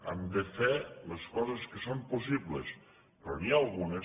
hem de fer les coses que són possibles però n’hi ha algunes